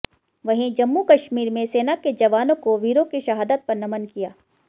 वहीं जम्मू कश्मीर में सेना के जवानों को वीरों की शहादत पर नमन किया